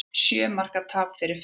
Sjö marka tap fyrir Finnum